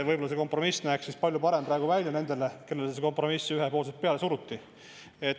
Võib-olla see kompromiss näeks siis palju parem praegu välja nendele, kellele see kompromiss praegu ühepoolselt peale suruti.